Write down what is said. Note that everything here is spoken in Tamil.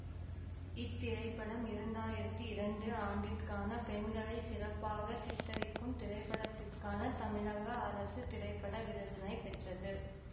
இத்திரைப்படம் இரண்டாயிரத்தி இரண்டு ஆண்டிற்கான பெண்களை சிறப்பாக சித்தரிக்கும் திரைப்படத்திற்கான தமிழக அரசு திரைப்பட விருதினை பெற்றது